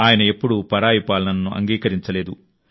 ఆయన ఎప్పుడూ పరాయి పాలనను అంగీకరించలేదు